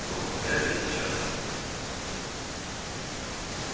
рон и гарри сейчас